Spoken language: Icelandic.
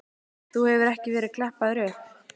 Þú hefur ekki verið klappaður upp?